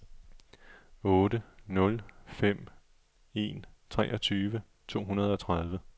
otte nul fem en treogtyve to hundrede og tredive